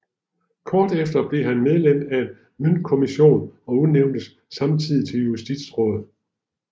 Kort efter blev han medlem af en møntkommission og udnævntes samtidig til justitsråd